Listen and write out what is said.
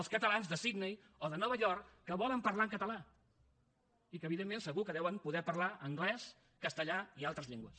els catalans de sydney o de nova york que volen parlar en català i que evidentment segur que deuen poder parlar anglès castellà i altres llengües